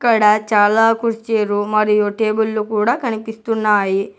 ఇక్కడ చాలా కుర్చీలు మరియు టేబుల్ లు కూడా కనిపిస్తున్నాయి.